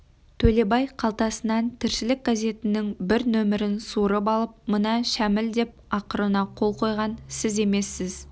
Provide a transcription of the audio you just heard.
төлебай қалтасынан тіршілік газетінің бір нөмірін суырып алып мына шәміл деп ақырына қол қойған сіз емессіз